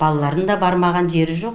балаларым да бармаған жері жоқ